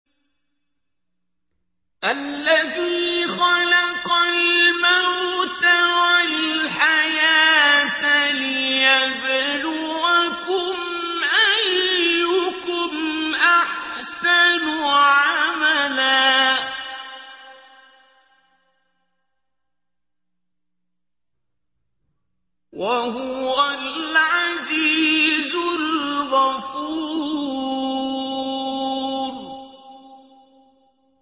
الَّذِي خَلَقَ الْمَوْتَ وَالْحَيَاةَ لِيَبْلُوَكُمْ أَيُّكُمْ أَحْسَنُ عَمَلًا ۚ وَهُوَ الْعَزِيزُ الْغَفُورُ